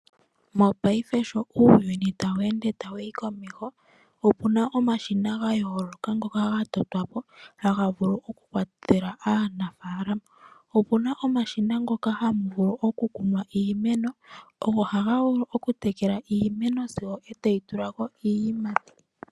Mongashingeyi sho uuyuni tawu ende tawu yi komeho opuna omashina ga yooloka ngoka ga totwa po haga vulu okukwathela aanafalama. Opuna omashina ngoka hamu vulu okukunwa iimeno go ohaga vulu okutekela iimeno sigo etayi tula ko iiyimati.